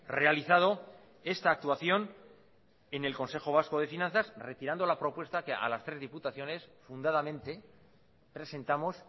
realizado esta actuación en el consejo vasco de finanzas retirando la propuesta que a las tres diputaciones fundadamente presentamos